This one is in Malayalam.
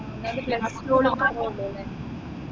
എന്നാലും plus two ഓൾ പറയല്ലല്ലേ